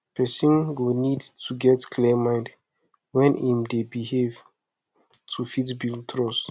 person go need to get clear mind when im dey behave to fit build trust